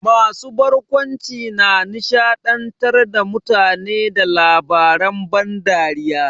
Masu barkwanci na nishaɗantar da mutane da labaren ban dariya.